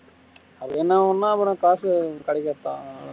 அது என்ன அவுனா அப்ரோ காசு கிடைக்காதா